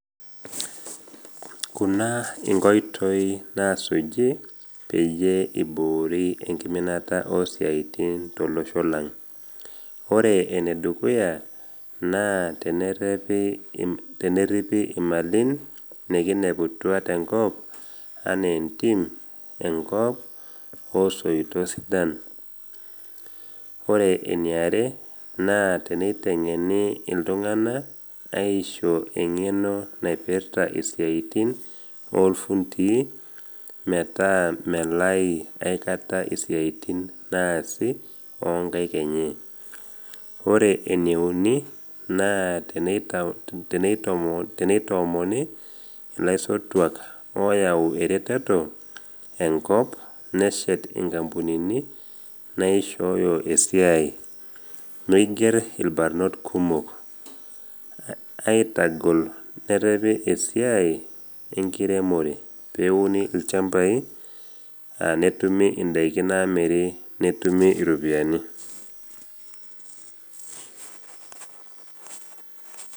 Kuna inkoitoi nasuji peyie eiboori enkiminata oo siatin tolosho lang, ore enedukuya naa teneripi imalin nekineputua tenkop anaa entim, enkop, osoitoi sidan. Ore eniare naa teneiteng’eni iltung’ana aisho eng’eno naipirta isiaitin olfundii metaa melai aikata isiatin naasi o nkaik enye. Ore eneuni naa teneitoomoni ilaisotuak oyau ereteto enkop neshet inkampunini naishooyo esiai, neiger ilbarnot kumok. Aitagol nerepi esiai enkiremore peuni ilchambai netumi indaiki namiri netumi iropiani.